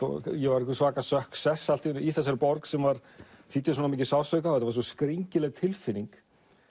ég var einhver svaka allt í einu í þessari borg sem þýddi svo mikinn sársauka skringileg tilfinning